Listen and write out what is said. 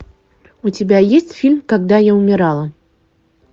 у тебя есть фильм когда я умирала